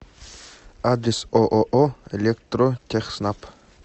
адрес ооо электротехснаб